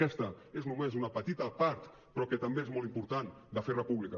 aquesta és només una petita part però que també és molt important de fer república